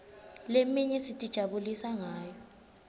leminye sitijabulisa ngayo